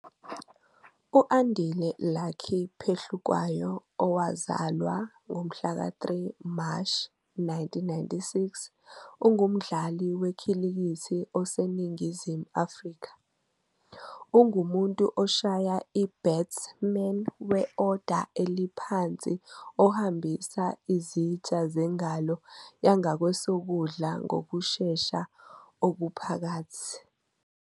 U-Andile Lucky Phehlukwayo, owazalwa ngomhlaka 3 Mashi 1996, ungumdlali wekhilikithi oseNingizimu Afrika. Ungumuntu oshaya i-batsman we-oda eliphansi ohambisa izitsha zengalo yangakwesokudla ngokushesha okuphakathi.